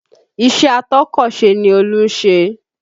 Ìṣe atọ́kọ̀sè ni Olú ń ṣe